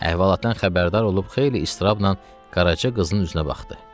Əhvalatdan xəbərdar olub xeyli istirabnan Qaraça qızının üzünə baxdı.